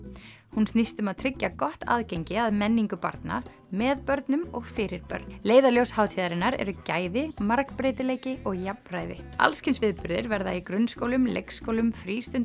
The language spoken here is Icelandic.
hún snýst um að tryggja gott aðgengi að menningu barna með börnum og fyrir börn leiðarljós hátíðarinnar eru gæði margbreytileiki og jafnræði alls kyns viðburðir verða í grunnskólum leikskólum